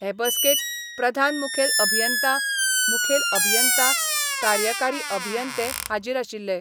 हे बसकेक प्रधान मुखेल अभियंता, मुखेल अभियंता, कार्यकारी अभियंते हाजीर आशिल्ले.